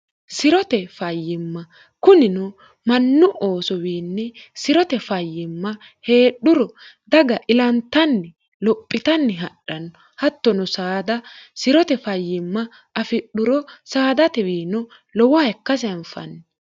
sirote fayyimma kunino mannu oosowiinni sirote fayyimma heedhuro daga ilantanni lophitanni hadhanno hattono saada sirote fayyimma afidhuro saadatewiino lowoha ikkasi hanfanni